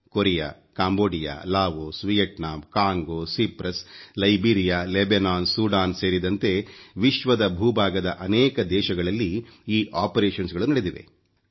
Korea Cambodia Laos Vietnam Congo Cyprus Liberia Lebanon Sudan ಸೇರಿದಂತೆ ವಿಶ್ವದ ಭೂ ಭಾಗದ ಅನೇಕ ದೇಶಗಳಲ್ಲಿ ಈ ಕಾರ್ಯಪ್ರಕ್ರಿಯೆಗಳು ನಡೆದಿವೆ